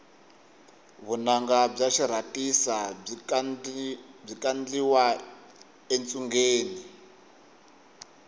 vunanga bya xirhasita byi kandliwa etshungeni